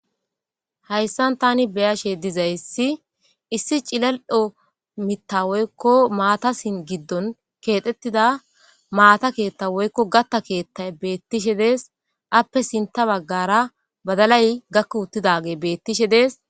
hayssan tani beyashe dizayssi issi cilaldho mitta woykko maata sin giddon keexxettida maata keetta woykko gatta keettay beettishe dees appe sinta baggara badalay gakko uttidage beettishe dees.